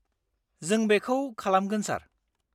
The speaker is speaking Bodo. -जों बेखौ खालामगोन, सार।